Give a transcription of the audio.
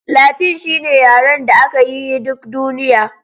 Latin shine yaren da aka yi yi duk duniya